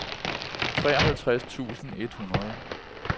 treoghalvtreds tusind et hundrede